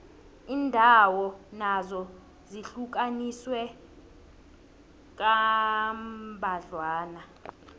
iindawo nazo zihlukaniswe kambadlwana